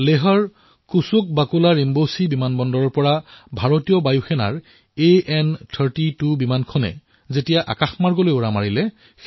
লেহৰ কুশোক বাকুলা ৰিম্পোচী বিমানবন্দৰৰ পৰা ভাৰতীয় বায়ুসেনাৰ এএন৩২ বিমানে ইতিহাস ৰচি আকাশলৈ উৰা মাৰিলে